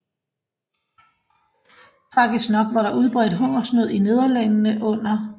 Tragisk nok var der udbredt hungersnød i Nederlandene under 2